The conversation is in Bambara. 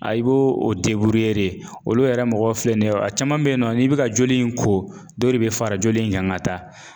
Ayi b'o o olu yɛrɛ mɔgɔ filɛ nin ye a caman bɛ yen nɔ n'i bɛ ka joli in ko dɔ de bɛ fara joli in kan ka taa